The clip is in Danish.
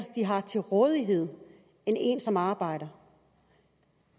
de har til rådighed end en som arbejder